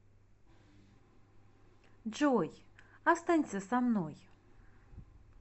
джой останься со мной